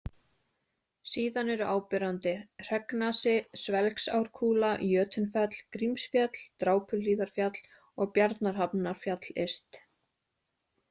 Síðan eru áberandi: Hreggnasi, Svelgsárkúla, Jötunfell, Grímsfjall, Drápuhlíðarfjall og Bjarnarhafnarfjall yst.